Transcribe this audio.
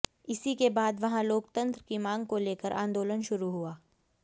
इसी के बाद वहां लोकतंत्र की मांग को लेकर आंदोलन शुरू हुआ